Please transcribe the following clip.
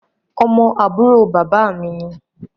Ọmọ àbúrò bàbá mi ni